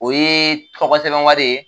O ye tɔgɔ sɛbɛn wari ye